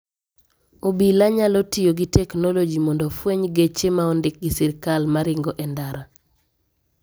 Obila nyalo tiyo gi teknologi mondo ofweny genche ma ondik gi sirkal maringo e ndara.